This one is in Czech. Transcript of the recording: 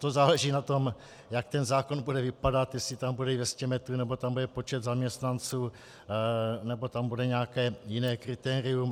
To záleží na tom, jak ten zákon bude vypadat, jestli tam bude 200 metrů, nebo tam bude počet zaměstnanců, nebo tam bude nějaké jiné kritérium.